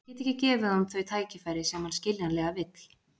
Ég get ekki gefið honum þau tækifæri sem hann skiljanlega vill.